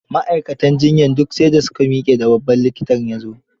Ma'aikatan juyyar duk sai da su ka miƙe da babban likitan ya zo.